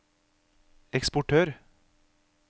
eksportør